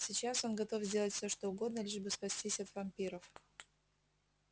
сейчас он готов сделать все что угодно лишь бы спастись от вампиров